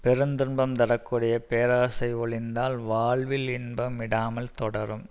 பெருந்துன்பம் தர கூடிய பேராசை ஒழிந்தால் வாழ்வில் இன்பம் விடாமல் தொடரும்